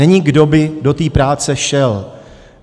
Není, kdo by do té práce šel.